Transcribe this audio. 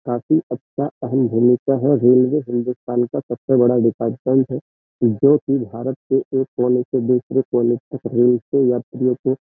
काफी अच्छा अहम् भूमिका है। रेलवे हिन्दुस्तान का सबसे बड़ा डिपार्टमेंट है जोकि भारत के एक कोने से दूसरे कोने तक रेल यात्रियों को --